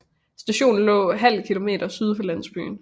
Stationen lå ½ km syd for landsbyen